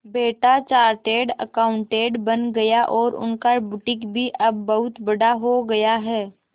बेटा chartered accountant बन गया और उनका बुटीक भी अब बहुत बड़ा हो गया है